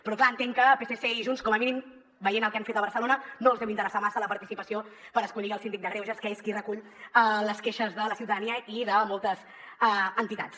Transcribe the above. però clar entenc que a psc i a junts com a mínim veient el que han fet a barcelona no els deu interessar massa la participació per escollir el síndic de greuges que és qui recull les queixes de la ciutadania i de moltes entitats